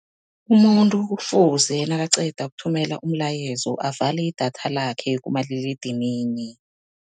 Umuntu kufuze nakaqeda ukuthumela umlayezo, avale idatha lakhe kumaliledinini.